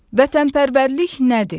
Vətvənpərvərlik nədir?